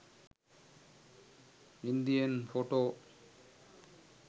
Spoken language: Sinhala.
indian photo